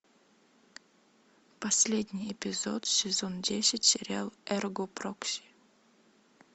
последний эпизод сезон десять сериал эрго прокси